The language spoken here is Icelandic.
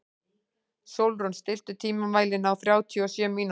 Sólrún, stilltu tímamælinn á þrjátíu og sjö mínútur.